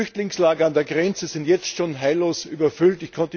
Die Flüchtlingslager an der Grenze sind schon jetzt heillos überfüllt.